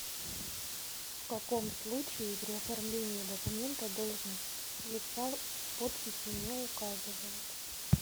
в каком случае при оформлении документа должность лица в подписи не указывают